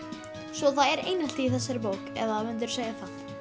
svo það er einelti í þessari bók eða mundirðu segja það